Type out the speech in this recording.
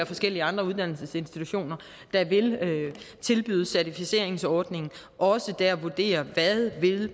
forskellige andre uddannelsesinstitutioner der vil tilbyde certificeringsordningen også der vurderer hvad